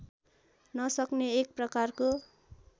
नसक्ने एक प्रकारको